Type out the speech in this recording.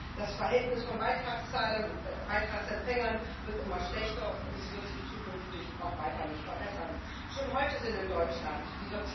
in countries where the state systems do not supply that. That is what we want to achieve. I hope those people will not be denied their rights.